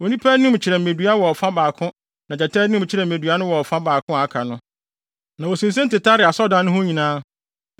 Onipa anim kyerɛ mmedua wɔ ɔfa baako na gyata anim kyerɛ mmedua no wɔ ɔfa baako a aka no. Na wosinsen tetaree asɔredan no ho nyinaa.